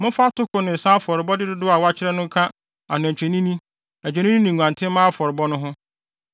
Momfa atoko ne nsa afɔrebɔde dodow a wɔakyerɛ no nka anantwinini, adwennini ne nguantenmma afɔrebɔ no ho.